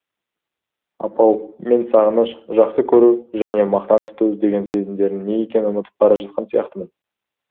апау мен сағыныш жақсы көру және мақтан тұту деген сезімдердің не екенін ұмытып бара жатқан сияқтымын